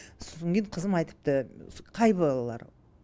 сосын кейін қызым айтыпты қай балалар